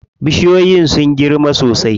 Bishiyoyin sun girma sosai.